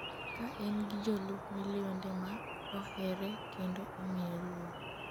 ka en gi jolup milionde ma ohere kendo omiye luor